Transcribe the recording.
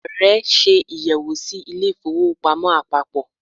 Ààrẹ ṣe àyẹ̀wò sí ilé ìfowópamọ́ àpapọ̀.